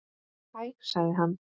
Hæ sagði hann.